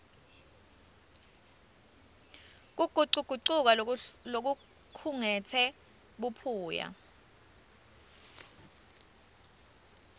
kugucugucuka lokukhungetse buphuya